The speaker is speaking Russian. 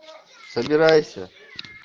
собирайся